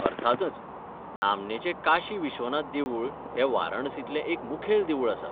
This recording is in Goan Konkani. अर्थांतच. नामनेचें काशी विश्वनाथ देवूळ हें वाराणसींतलें एक मुखेल देवूळ आसा.